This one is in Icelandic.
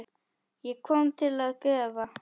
Ég kom til að gefa.